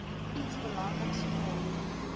iets belangriks vra